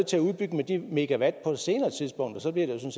til at udbygge med de megawatt på et senere tidspunkt og så bliver det jo